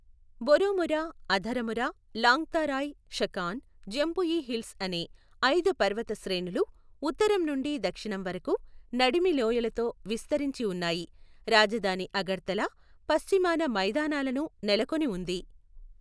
Baramura, Atharamura, Longtharai, Shakhan, Jampui hills అనే ఐదు పర్వత శ్రేణులు ఉత్తరం నుండి దక్షిణం వరకు నడిమి లోయలతో విస్తరించి ఉన్నాయి. రాజధాని అగర్తలా పశ్చిమాన మైదానాలను నెలకొని ఉంది.